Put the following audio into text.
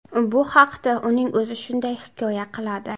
Bu haqda uning o‘zi shunday hikoya qiladi.